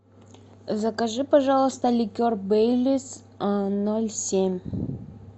закажи пожалуйста ликер бейлис ноль семь